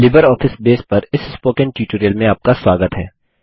LibreOffice Base पर इस spoken tutorial में आपका स्वागत है